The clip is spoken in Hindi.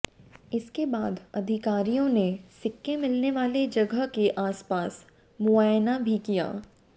इसके बाद अधिकारियों ने सिक्के मिलने वाले जगह के आसपास मुआयना भी किया